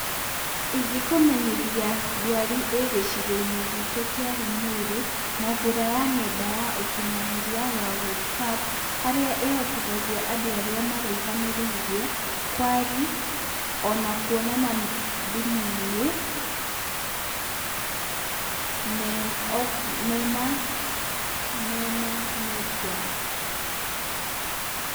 Ingĩkũmenyithia ndwari ĩ gĩcigo-inĩ gitũ kĩa Limuru na njĩra ya ng'enda ya ũkinyanĩria ya Whatsapp, harĩa ĩhotithagia andũ arĩa maraihanĩrĩirie kwari, ona kwonana thimũ-inĩ mena, mena netiwaki.